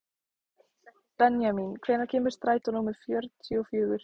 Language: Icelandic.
Benjamín, hvenær kemur strætó númer fjörutíu og fjögur?